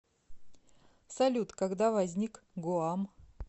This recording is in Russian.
салют когда возник гуам